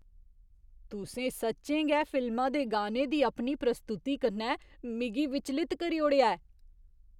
तुसें सच्चें गै फिल्मा दे गाने दी अपनी प्रस्तुति कन्नै मिगी विचलत करी ओड़ेआ ऐ!